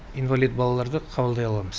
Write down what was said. инвалид балаларды қабылдай аламыз